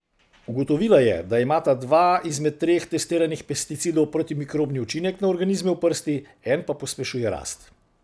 Ugotovila je, da imata dva izmed treh testiranih pesticidov protimikrobni učinek na organizme v prsti, en pa pospešuje rast.